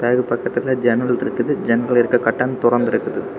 அது பக்கத்துல ஜன்னல் இருக்கு ஜன்னல் இருக்கிற கர்டன் தோறந்து இருக்கு.